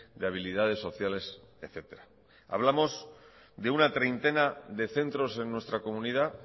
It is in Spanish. de habilidades sociales etcétera hablamos de una treintena de centros en nuestra comunidad